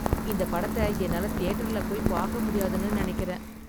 இந்தப் படத்தை என்னால தியேட்டர்ல போய் பார்க்க முடியாதுன்னு நினைக்கிறேன்